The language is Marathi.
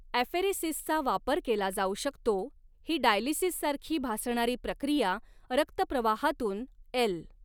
ॲफेरेसिसचा वापर केला जाऊ शकतो, ही डायलिसिससारखी भासणारी प्रक्रिया रक्तप्रवाहातून एल.